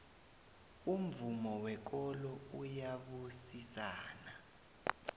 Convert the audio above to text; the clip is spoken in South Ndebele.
umvumo wekolo uyabusisana